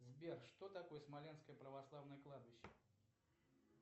сбер что такое смоленское православное кладбище